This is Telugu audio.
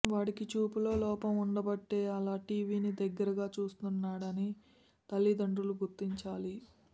వాడికి చూపులో లోపం ఉండబట్టే అలా టీవీని డగ్గరగా చూస్తున్నాడని తల్లిదండ్రులు గుర్తించాలి